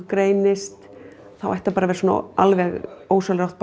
greinist þá ætti bara að vera alveg ósjálfrátt